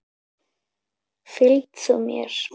Fylg þú mér.